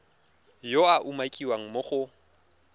yo a umakiwang mo go